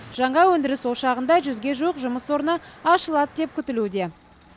жаңа өндіріс ошағында жүзге жуық жұмыс орны ашылады деп күтілуде